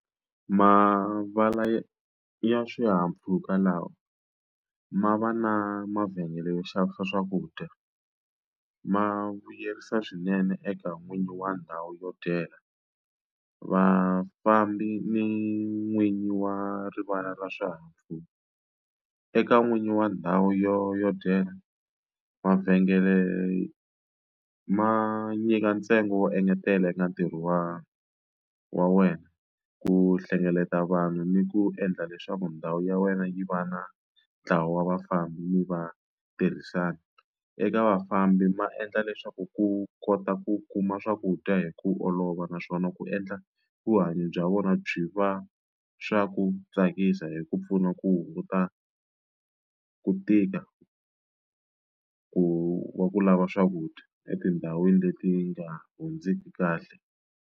Mavala ya swihahampfhuka lawa ma va na mavhengele yo xavisa swakudya ma vuyerisa swinene eka n'winyi wa ndhawu yo dyela vafambi ni n'winyi wa rivala ra swihahampfhuka eka n'winyi wa ndhawu yo yo dyela mavhengele ma nyika ntsengo wo engetela eka ntirho wani wa wena ku hlengeleta vanhu ni ku endla leswaku ndhawu ya wena yi va na ntlawa wa vafambi mi va tirhisana eka vafambi ma endla leswaku ku kota ku kuma swakudya hi ku olova naswona ku endla vuhanyo bya vona byi va swa ku tsakisa hi ku pfuna ku hunguta ku tika ku va ku lava swakudya etindhawini leti nga hundziki kahle.